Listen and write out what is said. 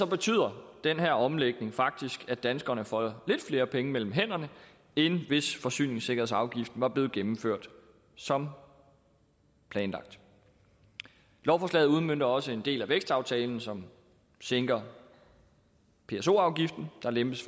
betyder den her omlægning faktisk at danskerne får lidt flere penge mellem hænderne end hvis forsyningssikkerhedsafgiften var blevet gennemført som planlagt lovforslaget udmønter også en del af vækstaftalen som sænker pso afgiften der lempes